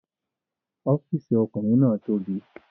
Ọ́fìsì ọkùnrin náà tóbi